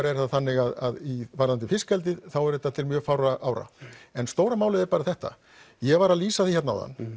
er það þannig að varðandi fiskeldið þá er þetta til mjög fárra ára en stóra málið er bara þetta ég var að lýsa því hérna áðan